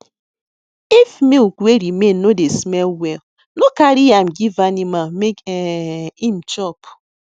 if milk wey remain no dey smell well no carry am give animal make um em chop